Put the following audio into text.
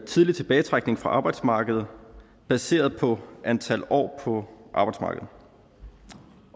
tidlig tilbagetrækning fra arbejdsmarkedet baseret på antal år på arbejdsmarkedet